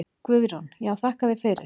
Guðrún: Já þakka þér fyrir.